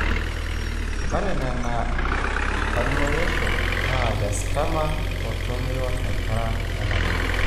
ore ena na olmoirioshi le sarcoma otumoyu tonkera onabulu.